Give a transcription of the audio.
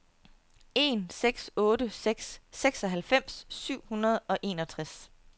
en seks otte seks seksoghalvfems syv hundrede og enogtres